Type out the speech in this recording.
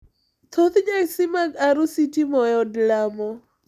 Thoth nyasi mag arus itimo e od lamo.